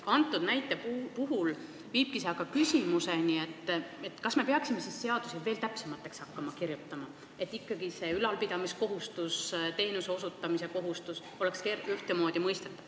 Selle teema puhul viibki see küsimuseni, kas me peaksime siis seadusi veel täpsemaks hakkama kirjutama, et ülalpidamiskohustus, teenuse osutamise kohustus oleks ikkagi ühtemoodi mõistetav.